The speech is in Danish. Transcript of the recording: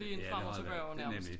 Ja det har det ja nemlig